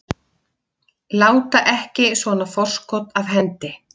Láta ekki svona forskot af hendi